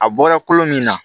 A bɔra kolo min na